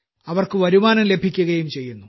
അവർക്കു വരുമാനം ലഭിക്കുകയും ചെയ്യുന്നു